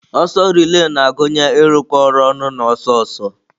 Ọsọ relai na-agụnye ịrụkọ ọrụ ọnụ na ọsọ ọsọ.